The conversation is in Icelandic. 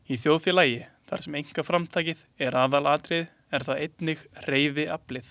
Í þjóðfélagi, þar sem einkaframtakið er aðalatriðið, er það einnig hreyfiaflið.